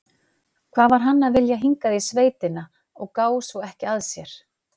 Hvað var hann að vilja hingað í sveitina og gá svo ekki að sér?